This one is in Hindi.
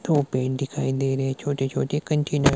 दो पेन दिखाई दे रहे छोटे छोटे कंटेनर --